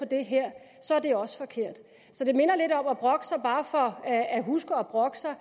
det her så er det også forkert det minder lidt om at brokke sig bare for at at huske at brokke sig